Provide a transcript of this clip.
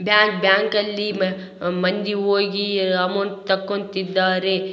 bank bank ಅಲ್ಲಿ ಮಂದಿ ಹೋಗಿ ಅಮೌಂಟ್ ತಕೊಂತಿದ್ದರೆ --